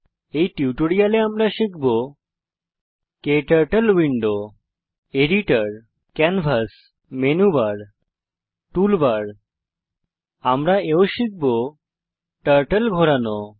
এই টিউটোরিয়ালে আমরা শিখব turtle window editor canvas menu bar toolbar আমি এও শিখব টার্টল ঘোরানো